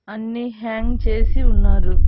అన్నీ హ్యాంగ్ చేసి ఉన్నారు.